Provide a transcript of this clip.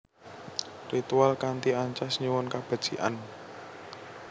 Ritual kanthi ancas nyuwun kabecikan